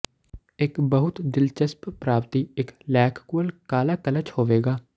ਇੱਕ ਬਹੁਤ ਦਿਲਚਸਪ ਪ੍ਰਾਪਤੀ ਇੱਕ ਲੈਕਕੁਅਲ ਕਾਲਾ ਕਲਚ ਹੋਵੇਗਾ